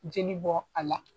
Jeli bɔ a la.